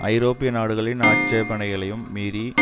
ஐரோப்பிய நாடுகளின் ஆட்சேபனைகளையும் மீறி